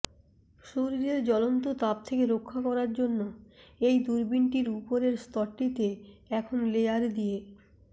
সূর্যের জ্বলন্ত তাপ থেকে রক্ষা করার জন্য এই দূরবীনটির উপরের স্তরটিতে এখন লেয়ার দিয়ে